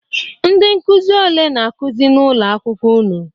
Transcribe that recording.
Ndị nkuzi ole na-akuzi n'ụlọ akwụkwọ unu?